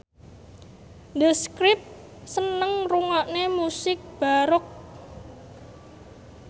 The Script seneng ngrungokne musik baroque